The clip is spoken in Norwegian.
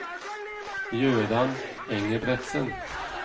Jøran Engebretsen